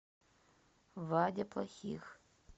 вадя плохих